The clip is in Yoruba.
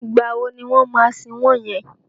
Ìgbà wo ni wọ́n máa sin wọ́n yẹn?